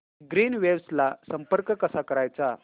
Greenwaves ला संपर्क कसा करायचा